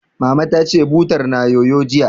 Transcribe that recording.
Mama ta ce, butar na yoyo, jiya